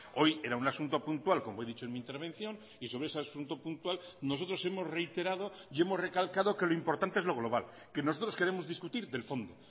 hoy era un asunto puntual como he dicho en mi intervención y sobre ese asunto puntual nosotros hemos reiterado y hemos recalcado que lo importante es lo global que nosotros queremos discutir del fondo